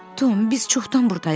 Tom, biz çoxdan burdayıq.